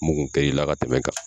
Mugun kɛ y'i la ka tɛmɛn kan.